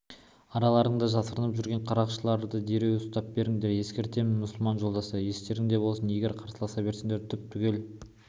араларыңда жасырынып жүрген қарақшыларды дереу ұстап беріңдер ескертемін мұсылман жолдастар естеріңде болсын егер қарсыласа берсеңдер түп-түгел